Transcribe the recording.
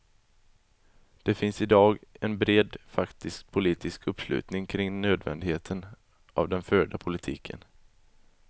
Det finns i dag en bred faktisk politisk uppslutning kring nödvändigheten av den förda politiken.